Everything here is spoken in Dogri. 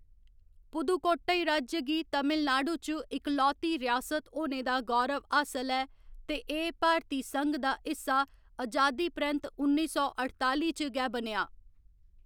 पुदुकोट्टई राज्य गी तमिलनाडु च इकलौती रियासत होने दा गौरव हासल ऐ, ते एह्‌‌ भारती संघ दा हिस्सा अजादी परैंत्त उन्नी सौ अठताली च गै बनेआ।